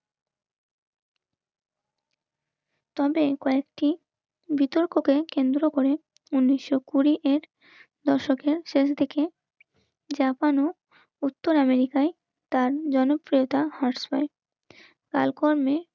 তবে কয়েকটি বিতর্ককে কেন্দ্র করে উনিশশো কুড়ি এর দর্শকের শেষ দিকে জাপান ও উত্তর আমেরিকায় তার জনপ্রিয়তা হ্রাস পায়. কালকর্মে